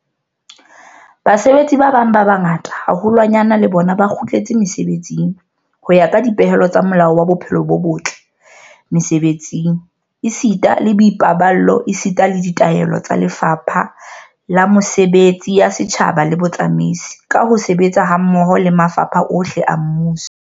Basebetsi ba bang ba bangata haholwanyane le bona ba kgutletse mesebetsing ho ya ka dipehelo tsa Molao wa Bophelo bo botle Mese-betsing esita le Boipaballo esita le ditaelo tsa Lefapha la Mesebetsi ya Setjhaba le Botsamaisi, ka ho sebetsa hammoho le mafapha ohle a mmuso.